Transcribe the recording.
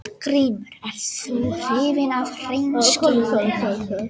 GRÍMUR: Ert þú hrifinn af hreinskilni?